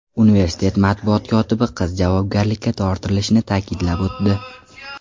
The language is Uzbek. Universitet matbuot kotibi qiz javobgarlikka tortilishini ta’kidlab o‘tdi.